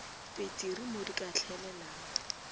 peteri mo di ka hlaelelago